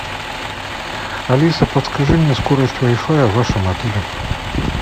алиса подскажи мне скорость вай фая в вашем отеле